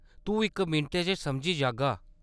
तूं इक मिंटै च समझी जाह्‌गा।